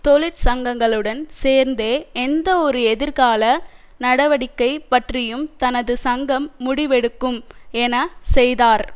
தொழிற்சங்கங்களுடன் சேர்ந்தே எந்தவொரு எதிர்கால நடவடிக்கை பற்றியும் தனது சங்கம் முடிவெடுக்கும் என செய்தார்